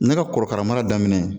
Ne ka korokara mara daminɛ